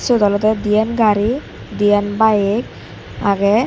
seyot olode diyan gari diyan bike agey.